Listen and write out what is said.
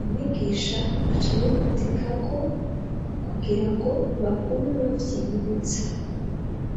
umwigisha acabimadika ko kugira ngo bagume bavyiyibutsa.